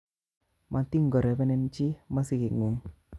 Matinkorebenen chi mosiget nguk